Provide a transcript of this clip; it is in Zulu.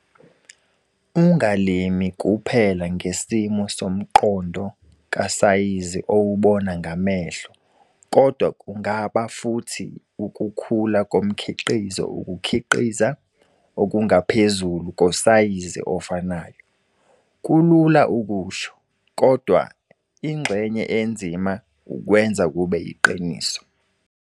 Ungalimi kuphela ngesimo somqondo kasayizi owubona ngamehlo kodwa kungaba futhi ukukhula komkhiqizo ukukhiqiza okungaphezulu kosayizi ofanayo. Kulula ukusho, kodwa ingxenye enzima ukwenza kube yiqiniso.